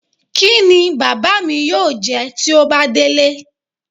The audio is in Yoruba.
Kí ni bàbá mi yóò jẹ tí ó bá délé?